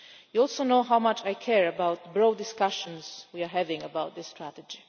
You also know how much I care about the broad discussions we are having about this strategy.